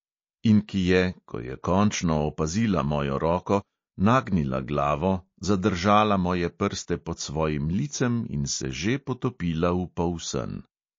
In ki je, ko je končno opazila mojo roko, nagnila glavo, zadržala moje prste pod svojim licem in se že potopila v polsen.